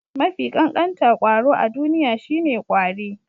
Mafi ƙanƙanta kwaro a duniya shine ƙwari.